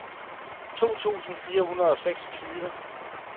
to tusind fire hundrede og seksogtyve